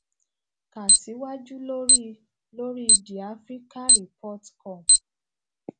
ka siwaju lori lori the africa report come